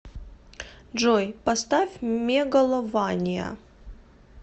джой поставь мегалования